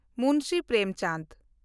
Munshi Premchand